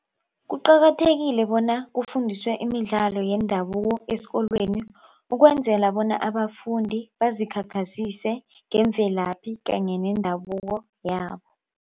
Kuqakathekile bona kufundiswe imidlalo yendabuko esikolweni ukwenzela bona abafundi bazikhakhazise ngemvelaphi kanye nendabuko yabo.